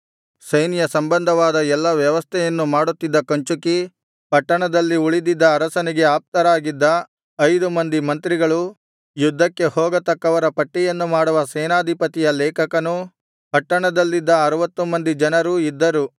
ಸೈನ್ಯ ಸಂಬಂಧವಾದ ಎಲ್ಲಾ ವ್ಯವಸ್ಥೆಯನ್ನು ಮಾಡುತ್ತಿದ್ದ ಕಂಚುಕಿ ಪಟ್ಟಣದಲ್ಲಿ ಉಳಿದಿದ್ದ ಅರಸನಿಗೆ ಆಪ್ತರಾಗಿದ್ದ ಐದು ಮಂದಿ ಮಂತ್ರಿಗಳು ಯುದ್ಧಕ್ಕೆ ಹೋಗತಕ್ಕವರ ಪಟ್ಟಿಯನ್ನು ಮಾಡುವ ಸೇನಾಧಿಪತಿಯ ಲೇಖಕನು ಪಟ್ಟಣದಲ್ಲಿದ್ದ ಅರುವತ್ತು ಮಂದಿ ಜನರೂ ಇದ್ದರು